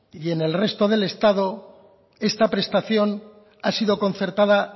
y en el resto del estado esta prestación ha sido concertada